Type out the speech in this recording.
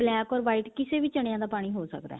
black or white ਕਿਸੇ ਵੀ ਚੰਨਿਆ ਦਾ ਪਾਣੀ ਹੋ ਸਕਦਾ